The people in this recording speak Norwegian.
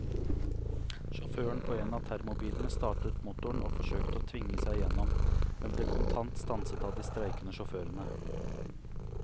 Sjåføren på en av termobilene startet motoren og forsøkte å tvinge seg igjennom, men ble kontant stanset av de streikende sjåførene.